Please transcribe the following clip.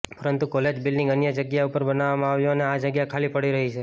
પરંતુ college building અન્ય જગ્યા ઉપર બનાવવામાં આવ્યુ અને આ જગ્યા ખાલી પડી રહી છે